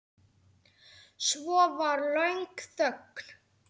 Svo var löng þögn.